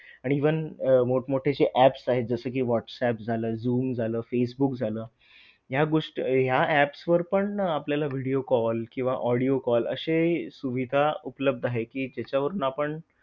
आणि even मोठमोठे जे apps आहेत जसे कि व्हॉट्सअँप झालं झूम झालं फेसबुक झालं, ह्या गोष्टी ह्या apps वर पण आपल्याला video call किंवा audio call अशे सुविधा उपलब्ध आहे कि ज्याच्यावरून आपण